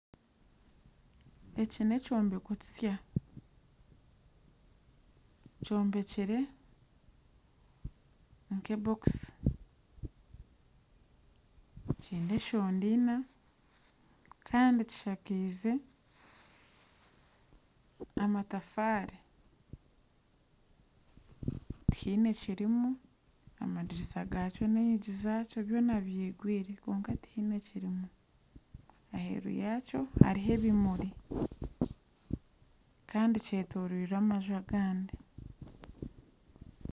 Eki n'ekyombeko kisya kyombekire nk'ebokisi kiine enshonda ina kandi kishakeize amatafaari tihaine kirimu amadirisa gakyo n'enyigi zakyo byona byigwire kwonka tihaine ekirimu. Aheeru yakyo hariho ebimuri kandi kyetoreirwe amaju agandi.